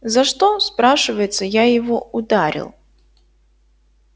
за что спрашивается я его ударил